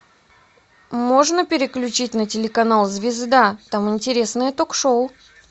можно переключить на телеканал звезда там интересное ток шоу